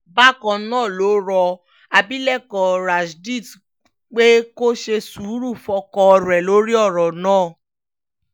bákan náà ló rọ abilékọ rashdit pé kó ṣe sùúrù fọ́kọ rẹ̀ lórí ọ̀rọ̀ náà